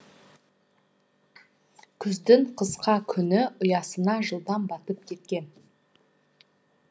күздің қысқа күні ұясына жылдам батып кеткен